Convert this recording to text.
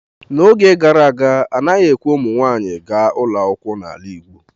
N'oge gara aga anaghị ekwe ka ụmụ nwanyị gaa ụlọ akwụkwọ n'ala igbo.